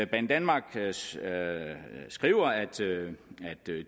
banedanmark skriver at